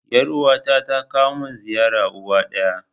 Yar uwa ta ta kawo mun ziyara uwa ɗaya